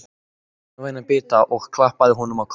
Hún gaf honum vænan bita og klappaði honum á kollinn.